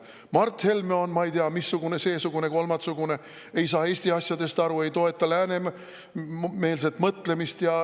Mart Helme on, ma ei tea, missugune, seesugune, kolmatsugune, ei saa Eesti asjadest aru, ei toeta läänemeelset mõtlemist.